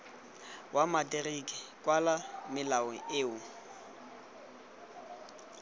wa materiki kwala melao eo